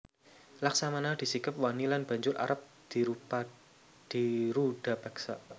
Laksmana disikep wani lan banjur arep dirudapeksa